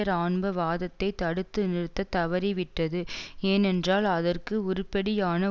இராணுவ வாதத்தை தடுத்து நிறுத்தத் தவறிவிட்டது ஏனென்றால் அதற்கு உருப்படியான